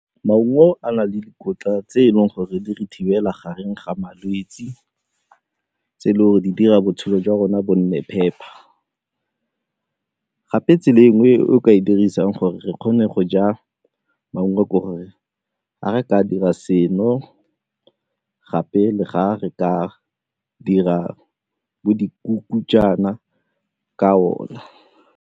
Maungo a na le dikotla tse e leng gore di re thibela gareng ga malwetse, tse e le gore di dira botshelo jwa rona bo nne phepa gape tsela e nngwe e o ka e dirisang gore kgone go ja maungo ke gore ga re ka dira seno gape le ga re ka dira bo dikuku jaana ka ona.